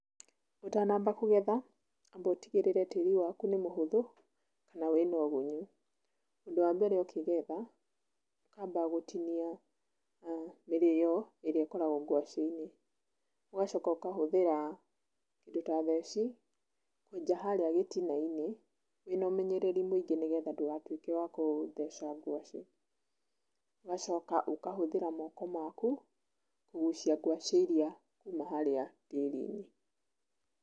Ũtanamba kũgetha amba ũtigĩrĩre tĩri waku nĩ mũhũthũ na wĩna ũgunyu. Ũndũ wa mbere ũkĩgetha, ũkamba gũtinia mĩrĩyo ĩrĩa ĩkoragwo ngwacĩinĩ, ũgacoka ũkahũthĩra kĩndũ ta theci kwenja harĩa gĩtinainĩ wĩna ũmenyereri mũingĩ nĩgetha ndũatuĩke wa gũtheca ngwacĩ, ũgacoka ũkahũthĩra moko maku kũgucia ngwaci ĩrĩa ĩ gĩtina-inĩ.